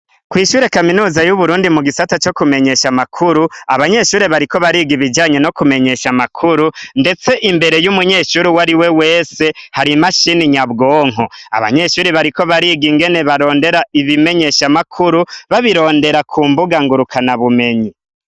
Kwishure ya kaminuza yuburundi mugisata co kumenyekanisha amakuru abanyeshure bariko bariga nibijanye no kumenyesha amakuru ndetse imbere yumunyeshure uwariwe wese harimashine nyabwonko abanyeshure bariko bariga ingene bakoresha ibimenyesha makuru babirondera kumbuga nguruka bumenyi